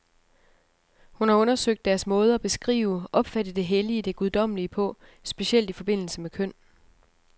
Hun har undersøgt deres måde at beskrive, opfatte det hellige, det guddommelige på, specielt i forbindelse med køn.